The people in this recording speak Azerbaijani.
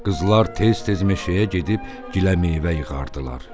Qızlar tez-tez meşəyə gedib giləmeyvə yığardılar.